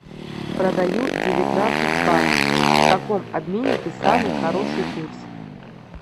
продаю девятнадцать батов в каком обменнике самый хороший курс